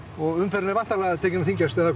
og umferðin er tekin að þyngjast eða hvað